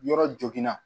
Yɔrɔ joginna